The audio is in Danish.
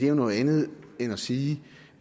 jo noget andet end at sige